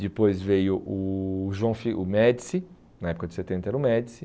Depois veio o João o Médici, na época de setenta era o Médici.